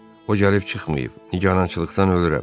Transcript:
O gəlib çıxmayıb, nigarançılıqdan ölürəm.